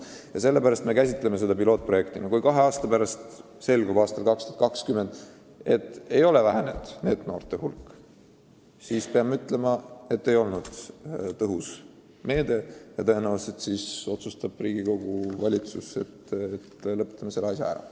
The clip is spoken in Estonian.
Kui kahe aasta pärast, aastal 2020 selgub, et NEET-noorte hulk ei ole vähenenud, siis meil tuleb tunnistada, et see pole olnud tõhus meede, ja tõenäoliselt otsustavad siis valitsus ja Riigikogu, et lõpetame selle asja ära.